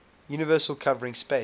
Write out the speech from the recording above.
universal covering space